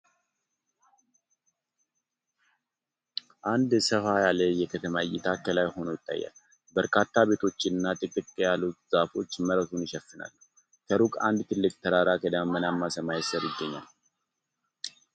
አንድ ሰፋ ያለ የከተማ እይታ ከላይ ሆኖ ይታያል። በርካታ ቤቶችና ጥቅጥቅ ያሉ ዛፎች መሬቱን ይሸፍናሉ። ከሩቅ አንድ ትልቅ ተራራ ከደመናማ ሰማይ ስር ይገኛል።